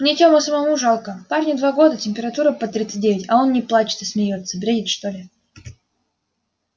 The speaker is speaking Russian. мне тему самому жалко парню два года температура под тридцать девять а он не плачет а смеётся бредит что ли